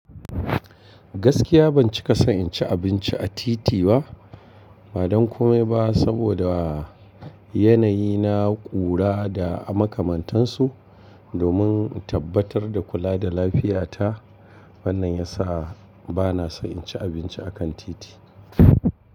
Gaskiya ban cika so in ci abinci a titi ba, badan komai ba saboda yanayi na ƙura da makamantansu. Domin in tabbatar da kula da lafiyata, wannan ya sa ba na son in ci abinci a kan titi.